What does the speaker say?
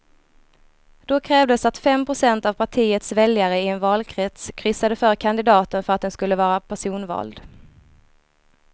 Då krävdes att fem procent av partiets väljare i en valkrets kryssade för kandidaten för att den skulle vara personvald.